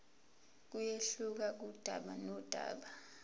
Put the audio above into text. kuyehluka kudaba nodaba